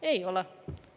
Ei ole.